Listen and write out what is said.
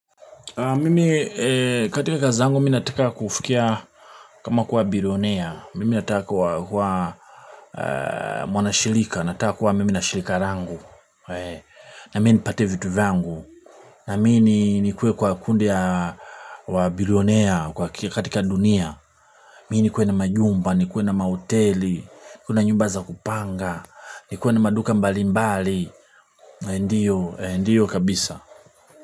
Mimi katika kazi zangu mi nataka kufikia kama kuwa bilionea, mimi nataka kuwa mwanashirika, nataka kuwa mimi nashirika langu, na mimi nipate vitu vyangu, na mimi nikuwe kwa kundi wa bilionea katika dunia, mimi nikuwe na majumba, nikuwe na mahoteli, nikuwe na nyumba za kupanga, nikuwe na maduka mbali mbali, ndiyo kabisa.